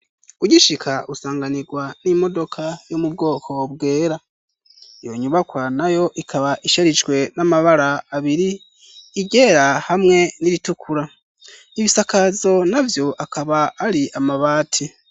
Ugishika usanganirwa n'imodoka yo mubwoko bwera iyo nyubaka na yo ikaba isherijwe n'amabara abiri igera hamwe n'iritukura 'ibisakazo navyo akaba ari amabati.